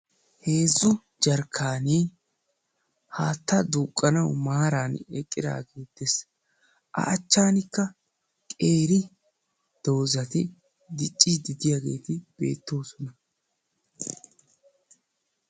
Heezzu jarkkaneti haattaa duuqqanaw maarara eqqidaage dees. a achchankka qeeri doozati diccide diyaageeti beettoosona.